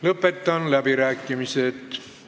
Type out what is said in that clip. Lõpetan läbirääkimised.